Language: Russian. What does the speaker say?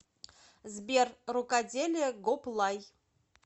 сбер рукоделие гоплай